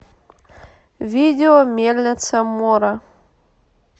видео мельница мора